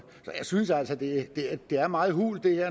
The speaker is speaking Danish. så jeg synes altså det er meget hult